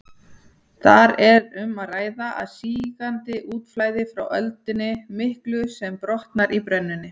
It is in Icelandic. Þar er um að ræða sígandi útflæði frá öldunni miklu sem brotnar í brennunni.